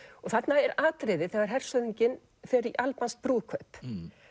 þarna er atriði þegar hershöfðinginn fer í albanskt brúðkaup